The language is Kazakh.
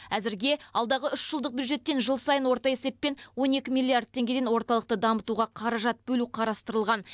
әзірге алдағы үш жылдық бюджеттен жыл сайын орта есеппен он екі миллиард теңгеден орталықты дамытуға қаражат бөлу қарастырылған